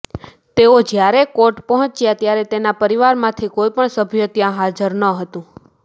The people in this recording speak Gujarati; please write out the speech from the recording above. તેઓ જ્ચારે કોર્ટ પહોંચ્યા ત્યારે તેમના પરિવારમાંથી કોઈ પણ સભ્ય ત્યા હાજર ન હતું